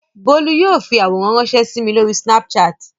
Bólú yóò fi àwòrán ránṣẹ́ sí mi lórí Snapchat.